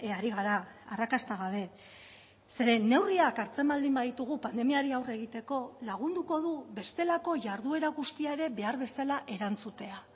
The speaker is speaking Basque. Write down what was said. ari gara arrakasta gabe zeren neurriak hartzen baldin baditugu pandemiari aurre egiteko lagunduko du bestelako jarduera guztia ere behar bezala erantzutea